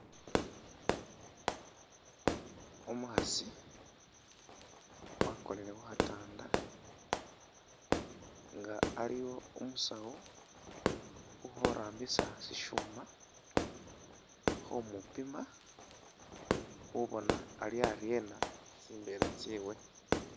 Umukhasi wakonile khu khatanda nga waliwo umusawu ukhorambisa syishuma khu mupima khubona ali aryena tsimbeela tsyewe.